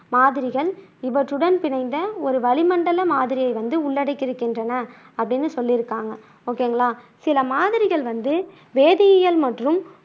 மாதிரிகள் இவற்றுடன் பிணைந்த ஒரு வளிமண்டல மாதிரியை வந்து உள்ளடக்கி இருக்கின்றன அப்படின்னு சொல்லியிருக்காங்க. ஓகேங்களா சில மாதிரிகள் வந்து வேதியியல் மற்றும்